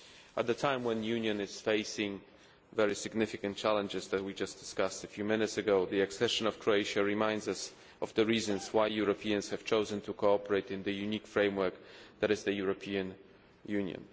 At a time when the Union is facing very significant challenges, which we just discussed a few minutes ago, the accession of Croatia reminds us of the reasons why Europeans have chosen to cooperate in the unique framework that is the European Union.